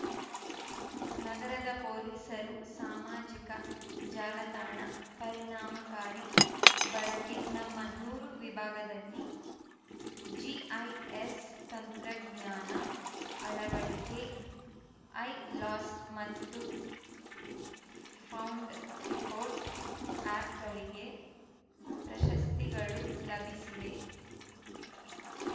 ನಗರದ ಪೊಲೀಸರು ಸಾಮಾಜಿಕ ಜಾಲತಾಣ ಪರಿಣಾಮಕಾರಿ ಬಳಕೆ ನಮ್ಮ ನೂರು ವಿಭಾಗದಲ್ಲಿ ಜಿಐಎಸ್‌ ತಂತ್ರಜ್ಞಾನ ಅಳವಡಿಕೆ ಐ ಲಾಸ್ಟ್‌ ಮತ್ತು ಫೌಂಡ್‌ ರಿಪೋರ್ಟ್‌ ಆ್ಯಪ್‌ಗಳಿಗೆ ಪ್ರಶಸ್ತಿಗಳು ಲಭಿಸಿವೆ